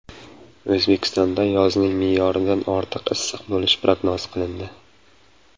O‘zbekistonda yozning me’yoridan ortiq issiq bo‘lishi prognoz qilindi.